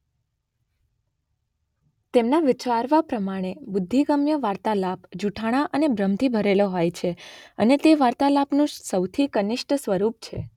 તેમના વિચારવા પ્રમાણે બુદ્ધિગમ્ય વાર્તાલાપ જુઠ્ઠાણા અને ભ્રમથી ભરેલો હોય છે અને તે વાર્તાલાપનું સૌથી કનિષ્ઠ સ્વરૂપ છે.